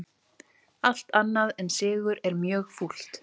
Allt annað en sigur mjög fúlt